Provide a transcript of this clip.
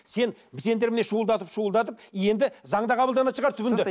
сен сендер міне шуылдатып шуылдатып енді заң да қабылданатын шығар түбінде